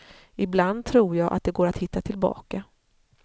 Ibland tror jag att det går att hitta tillbaka.